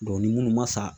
ni munnu ma sa